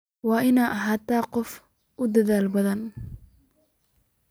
Waad ina ahatahy qof aad udadhal badhan.